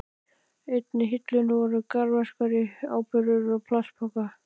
Í einni hillunni voru garðverkfæri og áburður í plastpoka.